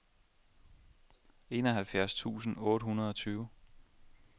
enoghalvfjerds tusind otte hundrede og tyve